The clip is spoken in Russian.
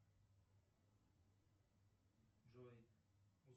джой